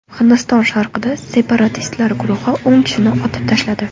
Hindiston sharqida separatistlar guruhi o‘n kishini otib tashladi.